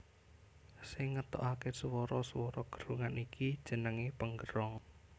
Sing ngetokake swara swara gerongan iki jenenge penggerong